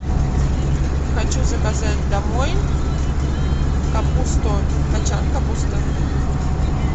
хочу заказать домой капусту кочан капусты